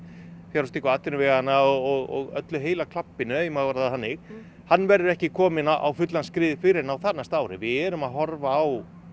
fjárfestingu atvinnuveganna og öllu heila klabbinu ef ég má orða það þannig hann verður ekki kominn á á fullan skrið fyrr en á þarnæsta ári við erum að horfa á